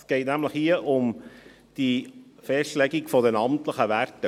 Es geht um die Festlegung der amtlichen Werte.